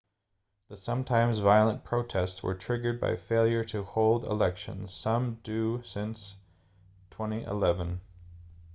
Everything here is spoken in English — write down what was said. the sometimes-violent protests were triggered by failure to hold elections some due since 2011